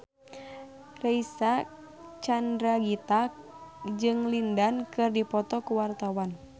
Reysa Chandragitta jeung Lin Dan keur dipoto ku wartawan